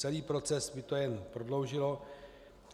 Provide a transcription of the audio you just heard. Celý proces by to jen prodloužilo.